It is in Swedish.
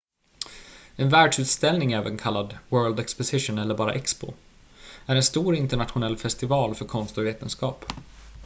en världsutställning även kallad world exposition eller bara expo är en stor internationell festival för konst och vetenskap